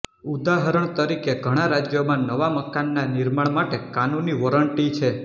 ઉદાહરણ તરીકે ઘણા રાજ્યોમાં નવા મકાનના નિર્માણ માટે કાનૂની વોરંટી છે